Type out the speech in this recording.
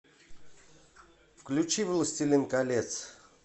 включи властелин колец